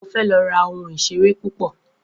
Mo fé lo ra oun ìseré pupo